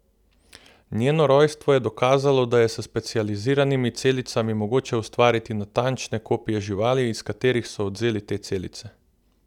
Njeno rojstvo je dokazalo, da je s specializiranimi celicami mogoče ustvariti natančne kopije živali, iz katerih so odvzeli te celice.